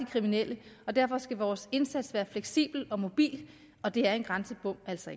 kriminelle og derfor skal vores indsats være fleksibel og mobil og det er en grænsebom altså